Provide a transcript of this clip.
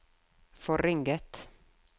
forringet